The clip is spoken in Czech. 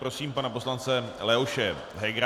Prosím pana poslance Leoše Hegera.